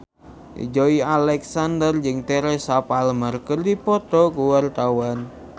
Joey Alexander jeung Teresa Palmer keur dipoto ku wartawan